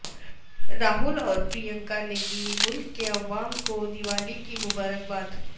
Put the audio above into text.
راہل اور پرینکا نے دی ملک کے عوام کو دیوالی کی مبارکباد